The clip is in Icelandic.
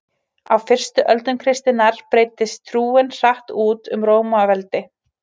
á fyrstu öldum kristninnar breiddist trúin hratt út um rómaveldi